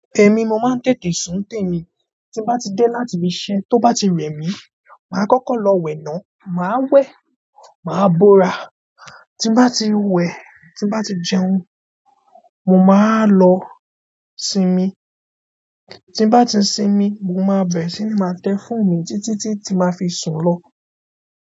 Èmi, mo máa ń tètè sùn ntèmi. Tí n bá ti dé láti ibi iṣẹ́, tó bá ti rẹ̀ mí, mà á kọ́kọ́ lọ wẹ̀ nà, mà á wẹ̀, mà á bóra. Tí n bá ti wẹ̀, tí n bá ti jẹun, mo ma wá lọ sinmi. Tí n bá ti sinmi, mo máa bẹ̀rẹ̀ sí ní máa tẹ fóònù mi títí tí tí máa fi sùn lọ.